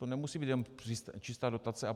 To nemusí být jenom čistá dotace apod.